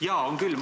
Jaa, on küll!